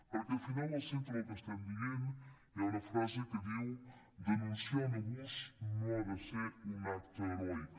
perquè al final al centre del que estem dient hi ha una frase que diu denunciar un abús no ha de ser un acte heroic